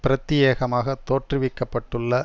பிரத்தியேகமாக தோற்றுவிக்க பட்டுள்ள